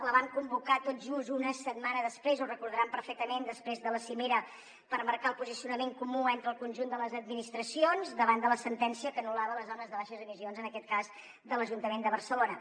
la vam convocar tot just una setmana després ho deuran recordar perfectament de la cimera per marcar el posicionament comú entre el conjunt de les administracions davant de la sentència que anul·lava les zones de baixes emissions en aquest cas de l’ajuntament de barcelona